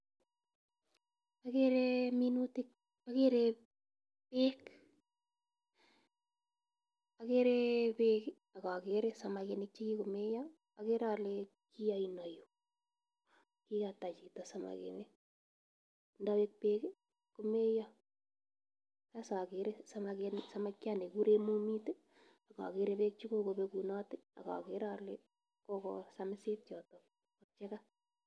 Agere minutik, agere beek, agere beek ak agere samakinik che kigomeiyo. Agere ale ki aino yu. Kigata chito samakinik, ndabek beek komeiyo. Sasa agere samakinik, samakiat nekigure mumit, ak agere beek che kogobegunot, ak agere ale kogosamisit yotok chega.